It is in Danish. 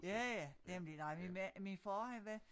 Ja ja nemlig nej min mand min far han var